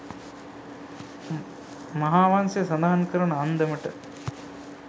මහාවංසය සඳහන් කරන අන්දමට